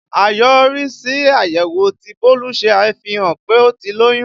Àyọrísí àyẹ̀wò tí Bólú ṣe fihàn pé ó ti lóyún